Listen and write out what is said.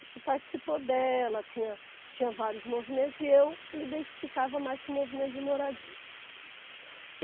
A gente participou dela, tinha tinha vários movimentos e eu me identificava mais com o movimento de moradia.